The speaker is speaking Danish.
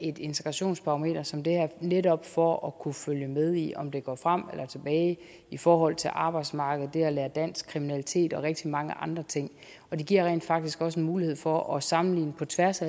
et integrationsbarometer som det her netop for at kunne følge med i om det går frem eller tilbage i forhold til arbejdsmarkedet det at lære dansk kriminalitet og rigtig mange andre ting og det giver rent faktisk også mulighed for at sammenligne på tværs